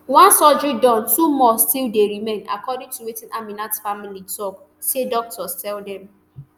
one surgery Accepted two more still dey remain according to wetin aminat family tok say doctors tell dem